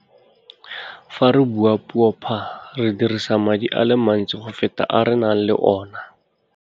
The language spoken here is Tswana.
Fa re bua puo phaa, re dirisa madi a le mantsi go feta a re nang le ona.